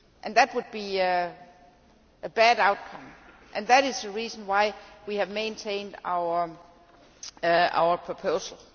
That would be a bad outcome and that is the reason why we have maintained our proposal.